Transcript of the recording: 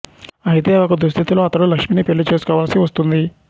అయితే ఒక దుస్థితిలో అతడు లక్ష్మిని పెళ్ళి చేసుకోవాల్సి వస్తుంది